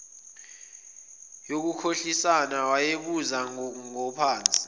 yokukhohlisana wayebuza ngophansi